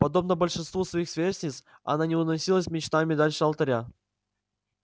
подобно большинству своих сверстниц она не уносилась мечтами дальше алтаря